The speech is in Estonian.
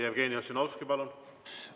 Jevgeni Ossinovski, palun!